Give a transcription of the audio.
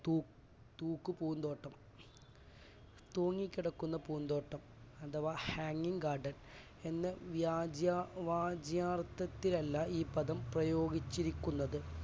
തൂ~തൂക്കു പൂന്തോട്ടം തൂങ്ങി കിടക്കുന്ന പൂന്തോട്ടം അഥവാ hanging garden എന്ന് വ്യാജ~ വാജ്യർഥത്തിലല്ല ഈ പദം പ്രയോഗിച്ചിരിക്കുന്നത്.